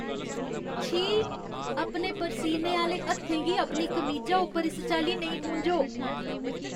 छी। अपने परसीने आह्‌ले हत्थें गी अपनी कमीजा उप्पर इस चाल्ली नेईं पूंझो।